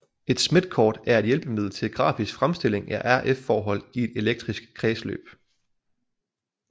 Et Smithkort er et hjælpemiddel til grafisk fremstilling af RF forhold i et elektrisk kredsløb